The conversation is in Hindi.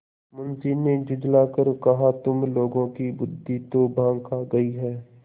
मुंशी ने झुँझला कर कहातुम लोगों की बुद्वि तो भॉँग खा गयी है